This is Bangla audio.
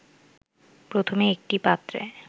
প্রথমে একটি পাত্রে